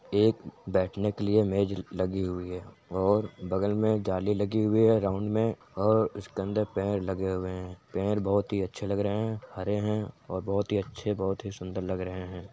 एक बैठने के लिए मेज लगी हुई है और बगल में जाली लगी हुई है राउन्ड में और उसके अंदर पेड़ लगे हुए हैं। पेड़ बहुत ही अच्छे लग रहे हैं हरे हैं और बहुत ही अच्छे बहुत ही सुंदर लग रहे हैं।